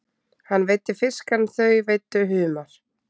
Hann veiddi fisk en þau veiddu humar.